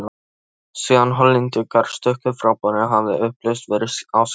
Síðan Hollendingarnir stukku frá borði, hafði upplausn verið á skipinu.